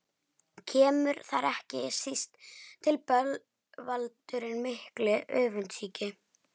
Kemur þar ekki síst til bölvaldurinn mikli, öfundsýki.